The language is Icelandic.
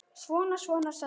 Svona, svona, sagði hann.